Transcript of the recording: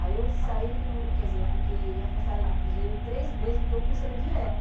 Aí eu saí do mu, quer dizer, eu fiquei afastada do museu em três meses, porque o curso era direto.